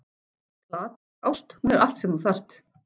Platónsk ást: hún er allt sem þú þarft.